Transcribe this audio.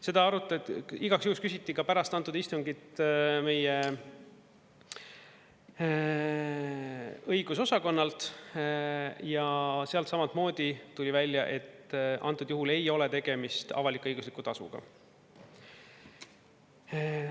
Seda igaks juhuks küsiti ka pärast antud istungit meie õigusosakonnalt ja sealt samamoodi tuli välja, et antud juhul ei ole tegemist avalik-õigusliku tasuga.